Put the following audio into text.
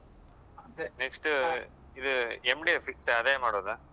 ಅದೆ next ಇದು MD ಯೆ fix ಆ ಅದೆ ಮಾಡುದಾ?